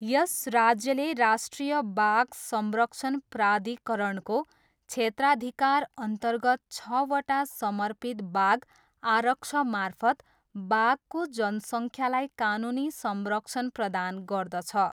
यस राज्यले राष्ट्रिय बाघ संरक्षण प्राधिकरणको क्षेत्राधिकारअन्तर्गत छवटा समर्पित बाघ आरक्षमार्फत बाघको जनसङ्ख्यालाई कानुनी संरक्षण प्रदान गर्दछ।